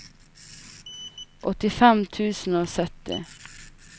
åttifem tusen og sytti